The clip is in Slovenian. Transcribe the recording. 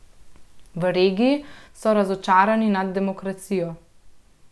V regiji so razočarani nad demokracijo.